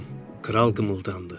Kral qımıldandı.